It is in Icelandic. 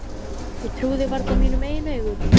Ég trúði varla mínum eigin augum.